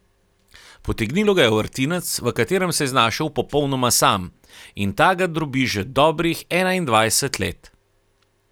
Potegnilo ga je v vrtinec, v katerem se je znašel popolnoma sam, in ta ga drobi že dobrih enaindvajset let.